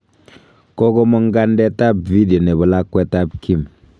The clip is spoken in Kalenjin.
Kogomong' kandet ab video nebo lakwetab Kim.